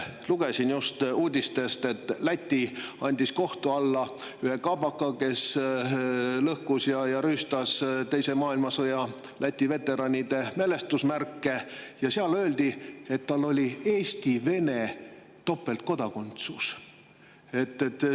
Lugesin just uudistest, et Läti andis kohtu alla ühe kaabaka, kes lõhkus ja rüüstas teises maailmasõjas osalenud Läti veteranide mälestusmärke, ja seal öeldi, et tal oli Eesti-Vene topeltkodakondsus.